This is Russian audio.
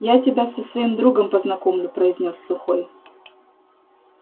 я тебя со своим другом познакомлю произнёс сухой